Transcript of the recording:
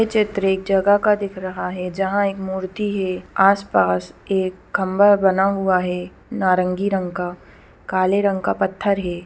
यह चित्र एक जगह का दिख रहा है जहाँ एक मूर्ति है आस-पास एक खंभा बना हुआ है नारंगी रंग का काले रंग का पत्थर है।